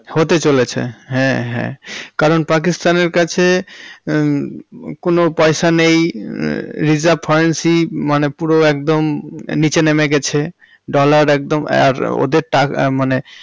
হতে চলেছে হ্যাঁ হ্যাঁ কারণ পাকিস্তান এর কাছে কোনো পয়সা নেই reserve forency মানে পুরো একদম নিচে নেমে গেছে dollar একদম আর ওদের টাকা মানে হতে চলেছে।